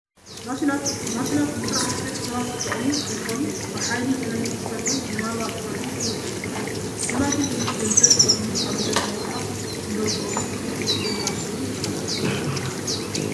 ማሽናት፡- ማሽናት ንስራሕቲ ደቂ ሰባት ዝጠቕሙ እንትኾኑ ብሓይሊ ኤክትሪክ ዝሰርሑን ብማንዋል ዝሰርሑን ይርከብዎም፡፡ እዚ ማሽን እዚ ገንዘብ ብቐሊሉ ኣብ ዝደለናዮ ሰዓት እነውፃኣሉ ኤ ቲ ኤ ም ማሽን ይባሃል፡፡